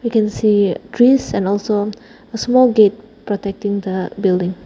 we can see trees and also a small gate protecting the building.